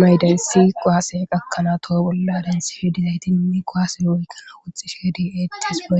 mayidaysi kuwase qakana toho bolla denththish diizayti woykko kuwasse oykkanawu woxxishe de'ettes woy--